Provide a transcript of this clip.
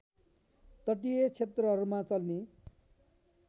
तटीय क्षेत्रहरूमा चल्ने